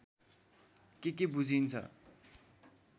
के के बुझिन्छ